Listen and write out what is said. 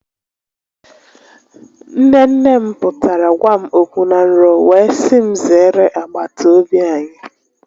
Nne nne m pụtara gwa m okwu na nrọ wee si m zeere agbatobi anyị